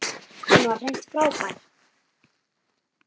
Hann var hreint frábær.